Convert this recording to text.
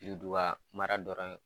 Yuduwa mara dɔrɔn ye